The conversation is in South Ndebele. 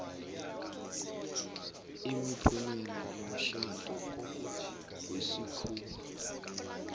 imiphumela yomtjhado wesikhuwa